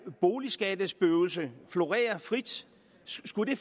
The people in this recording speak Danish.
boligskattespøgelse florere frit skulle